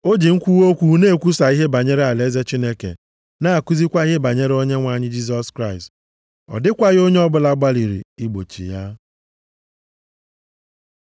o ji mkwuwa okwu na-ekwusa ihe banyere alaeze Chineke na-akụzikwa ihe banyere Onyenwe anyị Jisọs Kraịst. Ọ dịkwaghị onye ọbụla gbalịrị igbochi ya.